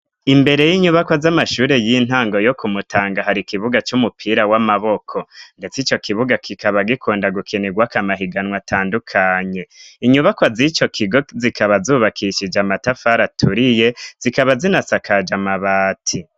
Imbere y'inyubako z'amashure y'intango yo kumutanga hari ikibuga c'umupira w'amaboko, ndetse ico kibuga kikaba gikunda gukenerwakamahiganwa atandukanye inyubaka z'ico kigo zikaba zubakishije amatafara aturiye zikaba zinasakaje amabati.